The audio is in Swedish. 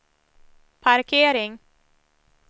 parkering